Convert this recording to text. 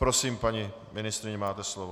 Prosím, paní ministryně, máte slovo.